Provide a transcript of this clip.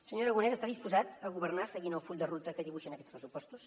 senyor aragonès està disposat a governar seguint el full de ruta que dibuixen aquests pressupostos